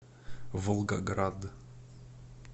волгоград